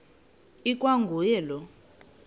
ikwa nguye lowo